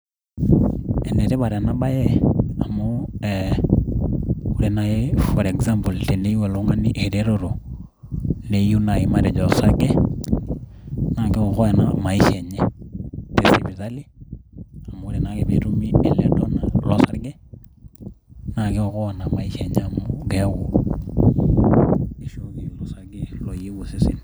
enetipat ena bae amu ore naaji for example teneyieu oltungani, eretoto neyieu naaji matejo osarge naa kiokoa ena maisha enye. tesipitali, amu are naa ake pee etumi donar losarge, naa kiokoa naa maisha enye amu keeku ishooki osarge loyieu osesen.